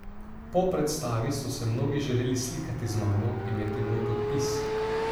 Po predstavi so se mnogi želeli slikati z mano, imeti moj podpis.